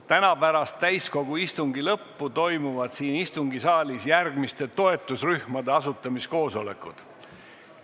Täna pärast täiskogu istungi lõppu toimuvad siin istungisaalis järgmiste toetusrühmade asutamiskoosolekud.